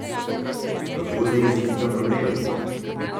Kako zajeziti ta problem?